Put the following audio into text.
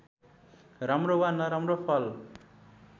राम्रो वा नराम्रो फल